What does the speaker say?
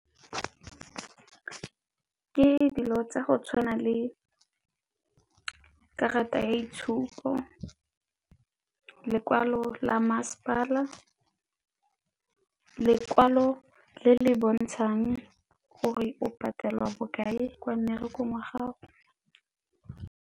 Ke dilo tsa go tshwana le karata ya itshupo lekwalo la masepala, lekwalo le le bontshang gore o patelwa bokae kwa mmerekong wa gago.